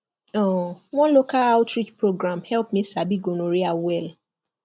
um one local outreach program help me sabi gonorrhea well